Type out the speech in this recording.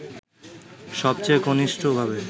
সবচেয়ে ঘনিষ্ঠভাবে